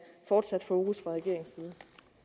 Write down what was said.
fortsat fokus